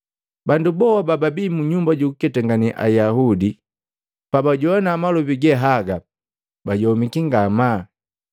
Bandu boha bababii mu nyumba jukuketangane Ayaudi pabajowana malobi ge haga bayomiki ngamaa.